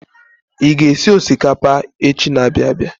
I ga-esi rais echi n'abia abịa.